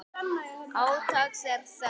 Átaks er þörf.